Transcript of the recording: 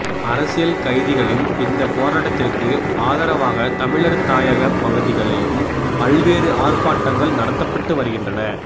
அரசியல் கைதிகளின் இந்த போராட்டத்திற்கு ஆதரவாக தமிழர் தாயகப் பகுதிகளிலும்பல்வேறு ஆர்ப்பாட்டங்கள் நடத்தப்பட்டு வருகின்றன